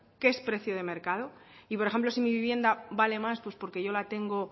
qué es precio de mercado y por ejemplo si mi vivienda vale más pues porque yo la tengo